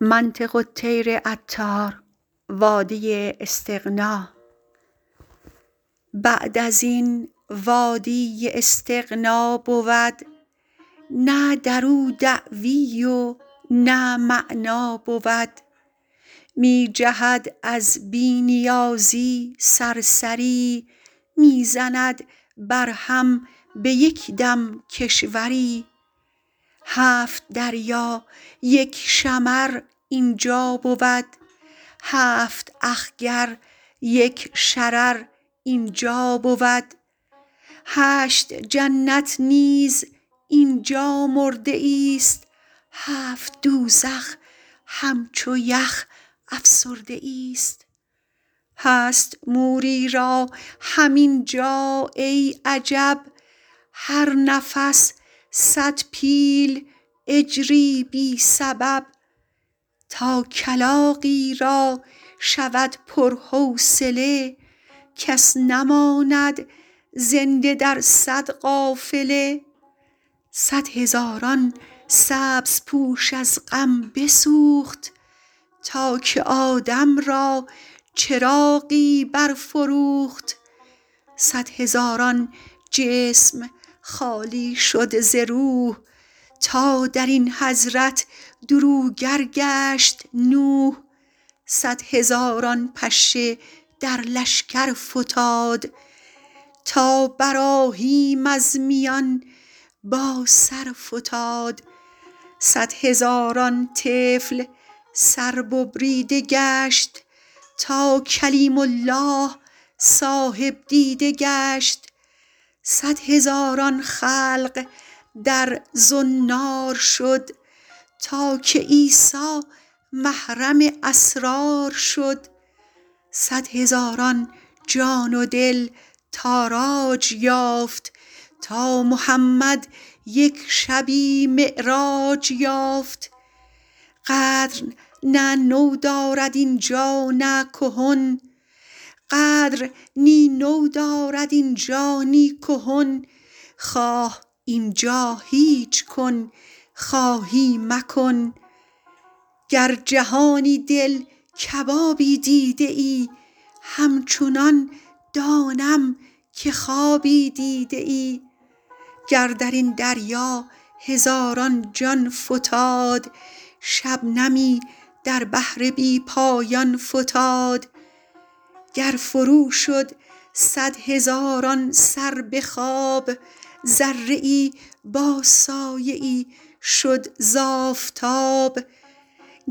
بعد ازین وادی استغنا بود نه درو دعوی و نه معنی بود می جهد از بی نیازی صرصری می زند بر هم به یک دم کشوری هفت دریا یک شمر اینجا بود هفت اخگر یک شرر اینجا بود هشت جنت نیز اینجا مرده ایست هفت دوزخ همچو یخ افسرده ایست هست موری را هم اینجا ای عجب هر نفس صد پیل اجری بی سبب تا کلاغی را شود پر حوصله کس نماند زنده در صد قافله صد هزاران سبز پوش از غم بسوخت تا که آدم را چراغی برفروخت صد هزاران جسم خالی شد ز روح تا درین حضرت دروگر گشت نوح صد هزاران پشه در لشگر فتاد تا براهیم از میان با سرفتاد صد هزاران طفل سر ببریده گشت تا کلیم الله صاحب دیده گشت صد هزاران خلق در زنار شد تا که عیسی محرم اسرار شد صد هزاران جان و دل تاراج یافت تا محمد یک شبی معراج یافت قدر نه نو دارد اینجا نه کهن خواه اینجا هیچ کن خواهی مکن گر جهانی دل کبابی دیده ای همچنان دانم که خوابی دیده ای گر درین دریا هزاران جان فتاد شبنمی در بحر بی پایان فتاد گر فرو شد صد هزاران سر بخواب ذره ای با سایه ای شد ز آفتاب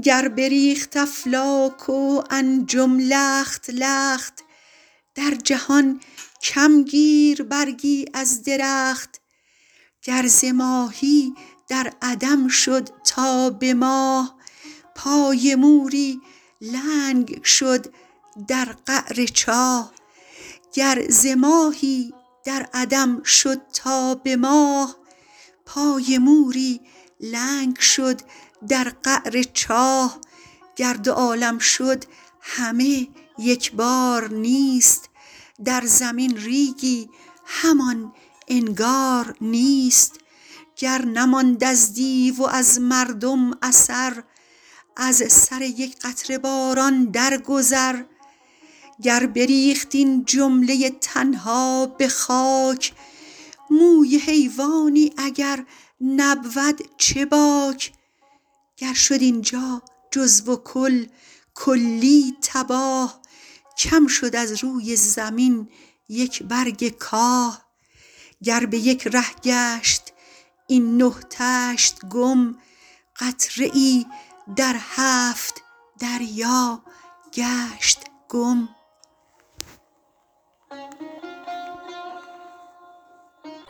گر بریخت افلاک و انجم لخت لخت در جهان کم گیر برگی از درخت گر ز ماهی در عدم شد تا به ماه پای مور لنگ شد در قعر چاه گر دو عالم شد همه یک بارنیست در زمین ریگی همان انگار نیست گر نماند از دیو وز مردم اثر از سر یک قطره باران در گذر گر بریخت این جمله تن ها به خاک موی حیوانی اگر نبود چه باک گر شد اینجا جزو و کل کلی تباه کم شد از روی زمین یک برگ کاه گر به یک ره گشت این نه طشت گم قطره ای در هشت دریا گشت گم